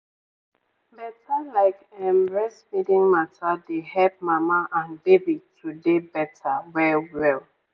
better like ehm breastfeeding mata dey hep mama and baby to dey better well well.